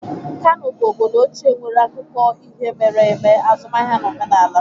Kano bụ obodo ochie nwere akụkọ ihe mere eme, azụmaahịa na omenala.